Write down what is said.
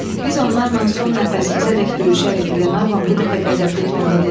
Biz onlarla son nəfəsimizədək döyüşərik, Glenarvan bu dəfə qəzəbli tonda dedi.